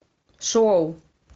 шоу